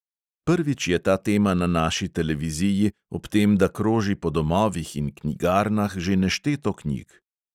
Prvič je ta tema na naši televiziji ob tem, da kroži po domovih in knjigarnah že nešteto knjig.